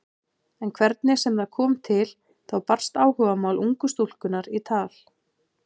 En hvernig sem það kom til þá barst áhugamál ungu stúlkunnar í tal.